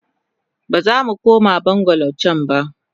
Bazamu koma bungalow can ba.